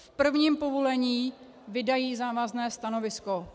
V prvním povolení vydají závazné stanovisko.